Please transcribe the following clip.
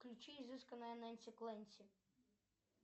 включи изысканная ненси кленси